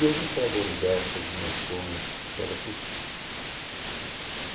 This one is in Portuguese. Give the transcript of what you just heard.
Deus enxerga o universo, as dimensões, enxerga tudo.